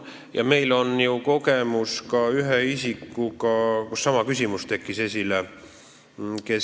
Ja meil on ju kogemus ka ühe isikuga, kelle puhul sama küsimus esile kerkis.